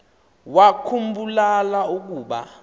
wakhu mbula ukuba